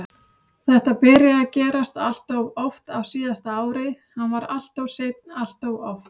Þetta byrjaði að gerast alltof oft á síðasta ári, hann var alltof seinn alltof oft.